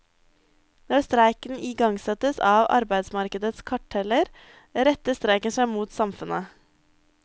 Når streiken igangsettes av arbeidsmarkedets karteller, retter streiken seg mot samfunnet.